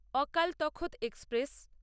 অকালটাক্ট express